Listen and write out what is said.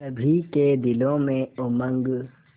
सभी के दिलों में उमंग